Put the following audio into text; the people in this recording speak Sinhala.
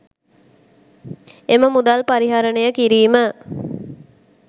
එම අරමුදල් පරිහරණය කිරීම